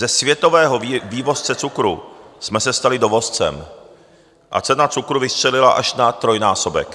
Ze světového vývozce cukru jsme se stali dovozcem a cena cukru vystřelila až na trojnásobek.